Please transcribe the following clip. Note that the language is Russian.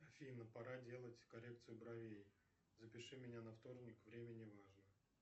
афина пора делать коррекцию бровей запиши меня на вторник время не важно